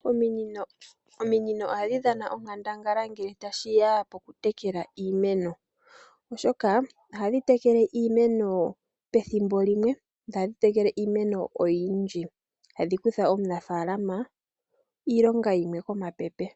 Ominino ohadh dhana onkandangala ngele tashi ya pokutekela iimeno, oshoka ohadhi tekele iimeno petjimbo limwe. Ohadhi tekele iimeno oyindji, hadhi kutha omunafalama iilonga yimwe komapepe.